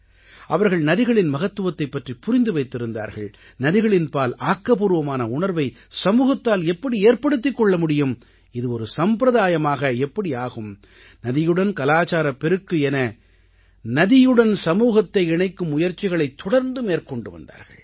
அவர்கள் நதிகளின் மகத்துவத்தைப் பற்றிப் புரிந்து வைத்திருந்தார்கள் நதிகளின்பால் ஆக்கப்பூர்வமான உணர்வை சமூகத்தால் எப்படி ஏற்படுத்திக் கொள்ள முடியும் இது ஒரு சம்பிரதாயமாக எப்படி ஆகும் நதியுடன் கலாச்சாரப் பெருக்கு என நதியுடன் சமூகத்தை இணைக்கும் முயற்சிகளைத் தொடர்ந்து மேற்கொண்டு வந்தார்கள்